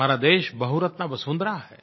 हमारा देश बहुरत्ना वसुन्धरा है